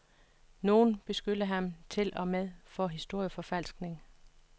Nogen beskyldte ham til og med for historieforfalskning.